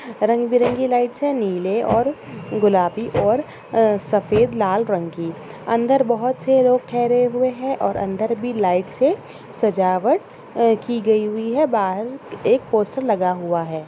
रंग-बिरंगे लाइट्स है नीले और गुलाबी और अ सफ़ेद लाल रंग की अंदर बहुत से लोग ठहरे हुए हैं और अंदर भी लाइट्स से सजावट अ की गई हुई है बाहर एक पोस्टर लगा हुआ है।